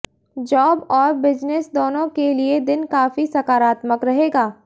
job और business दोनों के लिए दिन काफी सकारात्मक रहेगा